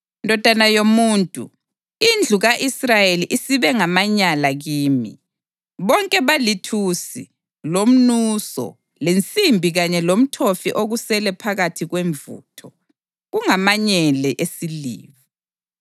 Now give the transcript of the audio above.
“Ndodana yomuntu, indlu ka-Israyeli isibe ngamanyala kimi. Bonke balithusi, lomnuso, lensimbi kanye lomthofi okusele phakathi kwemvutho. Kungamanyele esiliva.